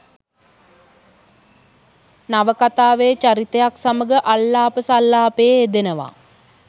නවකතාවේ චරිතයක් සමඟ අල්ලාප සල්ලාපයේ යෙදෙනවා.